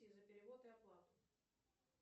за перевод и оплату